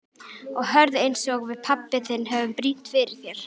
Og hörð einsog við pabbi þinn höfum brýnt fyrir þér.